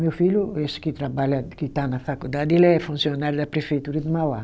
Meu filho, esse que trabalha, que está na faculdade, ele é funcionário da prefeitura de Mauá.